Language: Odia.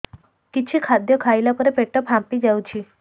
କିଛି ଖାଦ୍ୟ ଖାଇଲା ପରେ ପେଟ ଫାମ୍ପି ଯାଉଛି